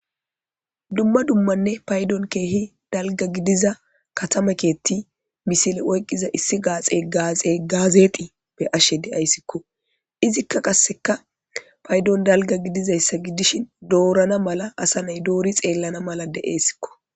Dumma dummanne payiddoni kehi daliga gidiza katama keeththi woyikko misile oyiqida issi gazexi beashe deayisikko izikka qasekka payidoni daliga gidizayisa gidishin dorana mala asa nay dori xelaana mala desikko